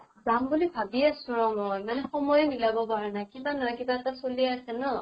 যাম বুলি ভাবি আছো ৰʼ মই, মানে সময়ে মিলাব পৰা নাই। কিবা নহয় কিবা এটা চলিয়ে আছে ন।